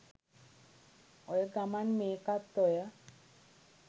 ඔය ගමන් මේකත් ඔය